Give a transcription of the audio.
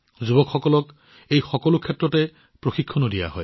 যুৱসকলকো এই সকলোবোৰৰ বাবে প্ৰশিক্ষণ দিয়া হয়